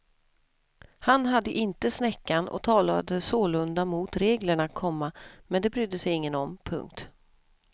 Han hade inte snäckan och talade sålunda mot reglerna, komma men det brydde ingen sig om. punkt